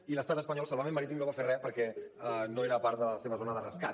i l’estat espanyol salvament marítim no va fer res perquè no era part de la seva zona de rescat